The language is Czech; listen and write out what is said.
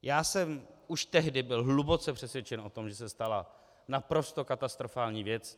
Já jsem už tehdy byl hluboce přesvědčen o tom, že se stala naprosto katastrofální věc.